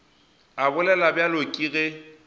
a bolela bjalo ke ge